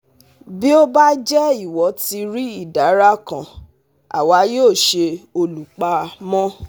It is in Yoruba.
Bí ó bá jẹ́ ìwọ ti rí ìdàrà kan, àwa yóò ṣe olùpamọ́